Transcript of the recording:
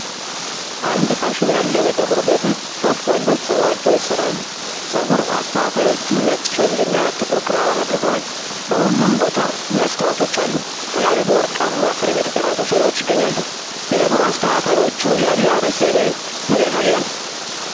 አንድ ፋሽን ያለው የፀጉር ቤት ውስጥ ሦስት ወንዶች ፀጉራቸውን ይሰራሉ። ፀጉር አስተካካዮቹ ነጭ ሸሚዝ እና ጥቁር ክራባት አድርገዋል። በሁሉም ቦታ መስታወቶች አሉ፤ ከላይ በወርቃማ ፍሬም የተቀረጹ ስዕሎች ይገኛሉ። የፀጉር አስተካካዮቹ የአለባበስ ዘይቤ ምን ያሳያል?